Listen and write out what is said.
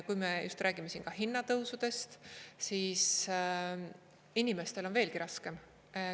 Kui me räägime siin hinnatõusudest, siis inimestel on veelgi raskem.